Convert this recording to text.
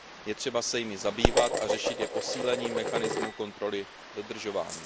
Je třeba se jimi zabývat a řešit je posílením mechanismu kontroly dodržování.